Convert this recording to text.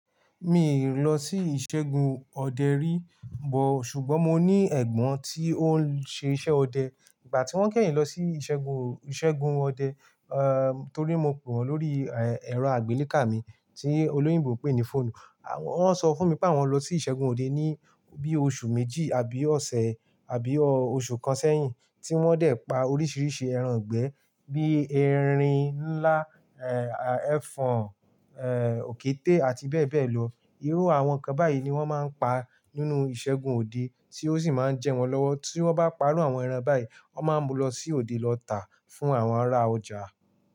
Mi ò lọ sí ìṣẹ́gun ọdẹ rí bọ̀, ṣùgbọ́n mo ní ẹ̀gbọ́n tí ó ń ṣe iṣẹ́ ọdẹ. Ìgbà tí wọ́n kẹ́yìn lọ sí ìṣẹ́gun, ìṣẹ́gun ọdẹ, eh torí mo pè wọ́n lórí, ẹ́, ẹ̀rọ àgbélékà mi tí olóyìnbó pè ní fóònù. Wọ́n sọ fún mi pé àwọn lọ sí ìṣẹ́gun òde ní bí oṣù méjì àbí ọ̀sẹ̀ àbí oṣù kan sẹ́yìn, tí wọ́n dẹ̀ pa oríṣiríṣi ẹran ìgbẹ́ bí erin ńlá, ẹ́, ẹfọ̀n, ẹ́, òkété àti bẹ́ẹ̀ bẹ́ẹ̀ lọ. Irú àwọn nǹkan báyìí ni wọ́n máa ń pa nínú ìṣẹ́gun òde tí ó sì máa ń jẹ wọ́n lọ́wọ́. Tí wọ́n bá pa ru àwọn ẹran báyìí, wọ́n máa ń lọ sí òde lọ tà á fún àwọn ará ọjà.